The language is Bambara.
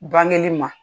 Bange ma